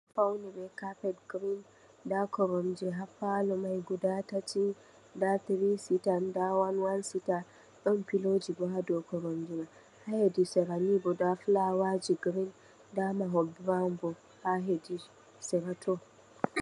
Fawni be kafet girin. Nda koromje ha palo mai guda tati, nda tiri sita nda one one sita. Ɗon piloji bo ha dow koromje mai .Ha hedi sera ni nda filawaji girin, nda mahol bo ha hedi serato.